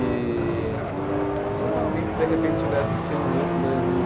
E, sei lá, alguém que de repente estiver assistindo isso em dois mil e